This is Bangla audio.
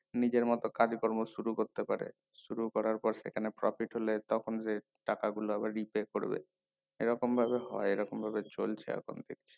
নিজের মতো কাজকর্ম শুরু করতে পারে শুরু করার পর সেখানে profit হলে তখন যে তাকা গুলো আবার repay করবে এইরকম ভাবে হয় এই রকম ভাবে চলছে এখন থেকে